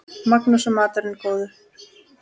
Magnús: Og maturinn góður?